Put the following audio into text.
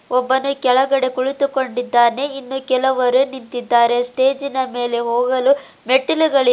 ಒಬ್ಬನು ಕೆಳಗಡೆ ಕುಳಿತುಕೊಂಡಿದ್ದಾನೆ ಇನ್ನು ಕೆಲವರು ನಿಂತಿದ್ದಾರೆ ಸ್ಟೇಜಿನ ಮೇಲೆ ಹೋಗಲು ಮೆಟ್ಟಿಲುಗಳಿ--